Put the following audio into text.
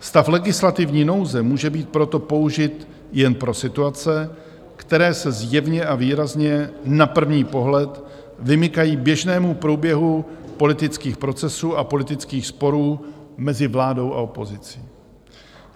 Stav legislativní nouze může být proto použit jen pro situace, které se zjevně a výrazně na první pohled vymykají běžnému průběhu politických procesů a politických sporů mezi vládou a opozicí.